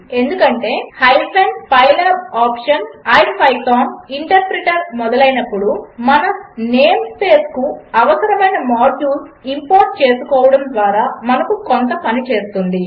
ఎందుకంటే hyphen pylab option IPython interpreter మొదలైనప్పుడు మన నేం స్పేస్కు అవసరమైన మాడ్యూల్స్ ఇంపోర్ట్ చేసుకోవడము ద్వారా మనకు కొంత పని చేస్తుంది